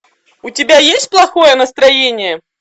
у тебя есть плохое настроение